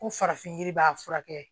Ko farafin yiri b'a furakɛ